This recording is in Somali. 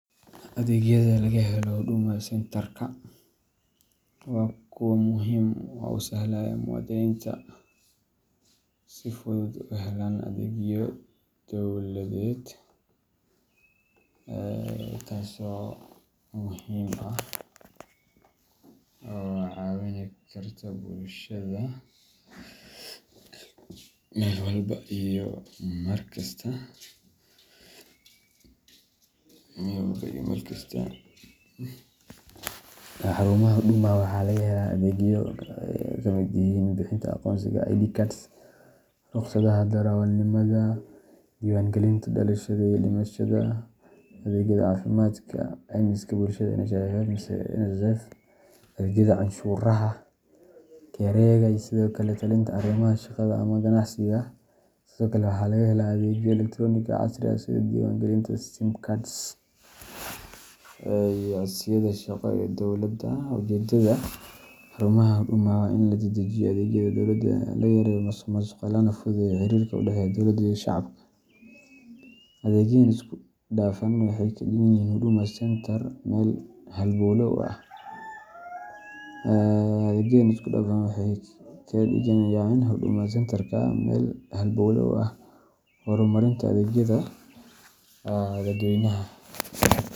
Adeegyada laga helo Huduma Centre-ka waa kuwo muhiim ah oo u sahlaya muwaadiniinta inay si fudud u helaan adeegyo dowladeed oo kala duwan hal meel. Xarumaha Huduma waxaa laga helaa adeegyo ay ka mid yihiin: bixinta aqoonsiga ID card, rukhsadaha darawalnimada, diiwaangelinta dhalashada iyo dhimashada, adeegyada caafimaadka, caymiska bulshada NHIF mise NSSF, adeegyada canshuuraha KRAga, iyo sidoo kale la-talinta arrimaha shaqada ama ganacsiga. Sidoo kale, waxaa laga helaa adeegyo elektaroonig ah oo casri ah sida diiwaangelinta sim cards iyo codsiyada shaqo ee dowladda. Ujeedada xarumaha Huduma waa in la dedejiyo adeegyada dowladda, la yareeyo musuqmaasuqa, lana fududeeyo xiriirka u dhexeeya dowlada iyo shacabka. Adeegyadan isku-dhafan waxay ka dhigayaan Huduma Centrka meel halbowle u ah horumarinta adeegyada dadweynaha.